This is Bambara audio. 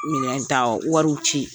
minɛn tawɔ wɔriw ci.